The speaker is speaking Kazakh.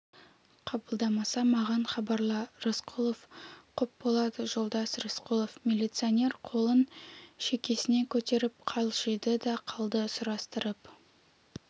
қабылдамаса маған хабарла рысқұлов құп болады жолдас рысқұлов милиционер қолын шекесіне көтеріп қалшиды да қалды сұрастырып